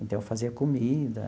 Então, eu fazia comida.